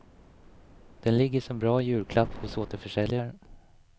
Den ligger som bra julklapp hos återförsäljare.